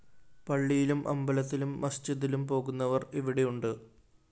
പള്ളിയിലും അമ്പലത്തിലും മസ്ജിദിലും പോകുന്നവര്‍ ഇവിടെയുണ്ട്